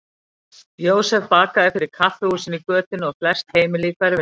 Jósef bakaði fyrir kaffihúsin í götunni og flest heimili í hverfinu.